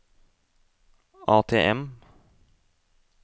ATM